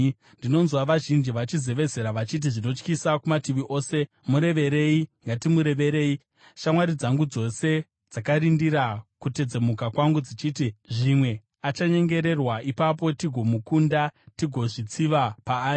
Ndinonzwa vazhinji vachizevezera vachiti, “Zvinotyisa kumativi ose! Mureverei! Ngatimureverei!” Shamwari dzangu dzose dzakarindira kutedzemuka kwangu, dzichiti, “Zvimwe achanyengererwa; ipapo tigomukunda tigozvitsiva paari.”